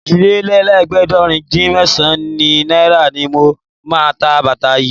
Òjìlélẹ́ẹ̀ẹ́dégbèje-dín-mẹ́sàn-án náírà ni mo máa ta bàtà yìí